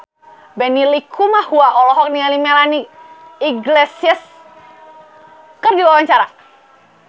Benny Likumahua olohok ningali Melanie Iglesias keur diwawancara